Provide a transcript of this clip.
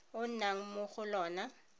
o nnang mo go lona